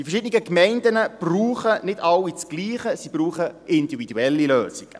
Die verschiedenen Gemeinden brauchen nicht alle dasselbe, sie brauchen individuelle Lösungen.